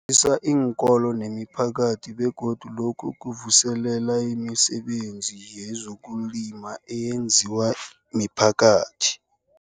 zisa iinkolo nemiphakathi begodu lokhu kuvuselela imisebenzi yezokulima eyenziwa miphakathi.